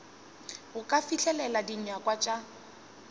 go ka fihlelela dinyakwa tša